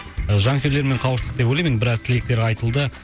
жанкүйерлермен қауыштық деп ойлаймын енді біраз тілектер айтылды